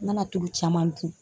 Ŋana tulu caman dun